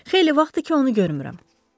Xeyli vaxtdır ki, onu görmürəm.